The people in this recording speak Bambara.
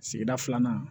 Sigida filanan